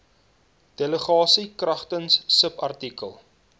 delegasie kragtens subartikel